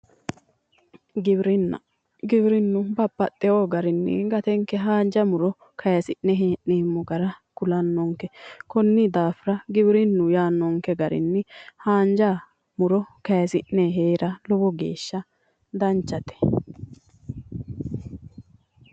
Giwirinna giwirinnu babbaxewo garinni gatenke haanja muro kaayisi'ne hee'neemmo gara kulannonke konni daafira giwirinnu yannonke garinni haanja muro kayiisi'ne hee'ra danchate.